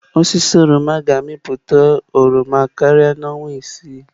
Osisi oroma ga-amịpụta oroma karịa n'ime ọnwa isii.